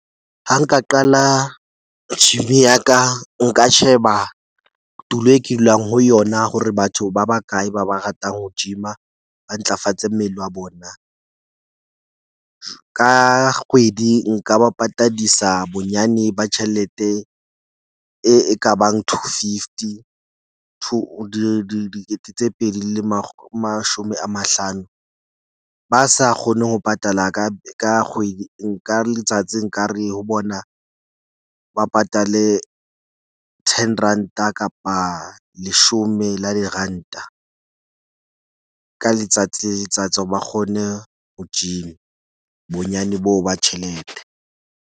Ha nka qala gym-i ya ka. Nka sheba tulo e ke dulang ho yona hore batho ba bakae ba ba ratang ho gym-a ba ntlafatse mmele wa bona. Ka kgwedi nka ba patadisa bonyane ba tjhelete e ekabang two fifty two dikete tse pedi le le mashome a mahlano. Ba sa kgone ho patala ka ka kgwedi nka letsatsi nkare ho bona ba patale ten ranta kapa leshome la diranta ka letsatsi le letsatsi hore ba kgone ho gym-a bonyane boo ba tjhelete.